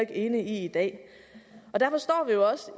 enig i i dag derfor står